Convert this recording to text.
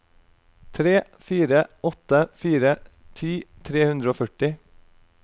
tre fire åtte fire ti tre hundre og førti